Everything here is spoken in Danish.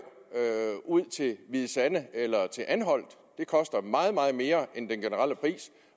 ud til hvide sande eller til anholt det koster meget meget mere end den generelle pris